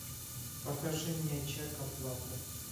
покажи мне чек оплаты